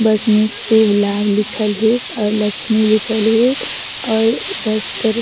बस में शुभ-लाभ लिखल है अउ लक्ष्मी लिखल है अउ बस कर --